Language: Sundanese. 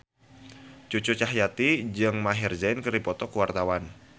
Cucu Cahyati jeung Maher Zein keur dipoto ku wartawan